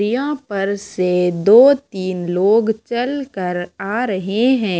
दीया पर से दो तीन लोग चलकर आ रहे हैं।